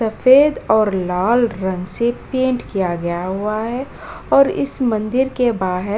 सफेद और लाल रंग से पेंट किया गया हुआ है और इस मंदिर के बाहर --